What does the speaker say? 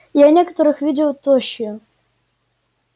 я некоторых видел тощие